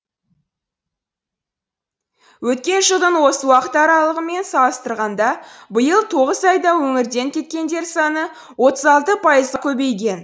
өткен жылдың осы уақыт аралығымен салыстырғанда биыл тоғыз айда өңірден кеткендер саны отыз алты пайыз көбейген